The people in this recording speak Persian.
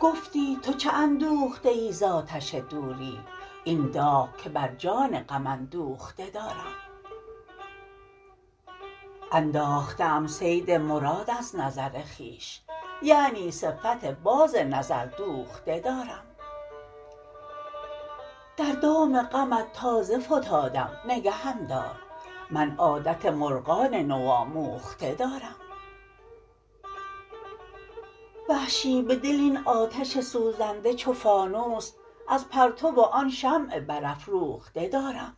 گفتی تو چه اندوخته ای ز آتش دوری این داغ که بر جان غم اندوخته دارم انداخته ام صید مراد از نظر خویش یعنی صفت باز نظر دوخته دارم در دام غمت تازه فتادم نگهم دار من عادت مرغان نو آموخته دارم وحشی به دل این آتش سوزنده چو فانوس از پرتو آن شمع بر افروخته دارم